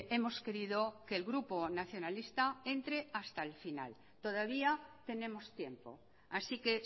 hemos querido que el grupo nacionalista entre hasta el final todavía tenemos tiempo así que